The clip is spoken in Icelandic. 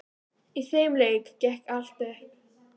Í þeim leik gekk allt upp.